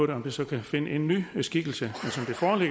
det så kan finde en ny skikkelse